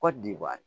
Kɔdiwari